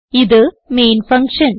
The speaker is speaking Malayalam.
ഇത് മെയിൻ ഫങ്ഷൻ